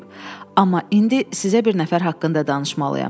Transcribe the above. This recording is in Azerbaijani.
Amma indi sizə bir nəfər haqqında danışmalıyam.